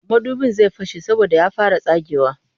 Madubin zai fashe saboda ya fara tsagewa